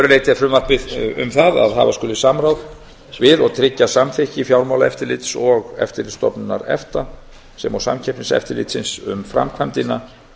leyti er frumvarpið um það að hafa skuli samráð við og tryggja samþykki fjármálaeftirlits og eftirlitsstofnunar efta sem og samkeppniseftirlitsins um framkvæmdina